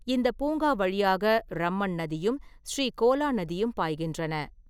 இந்தப் பூங்கா வழியாக ரம்மன் நதியும் ஸ்ரீகோலா நதியும் பாய்கின்றன.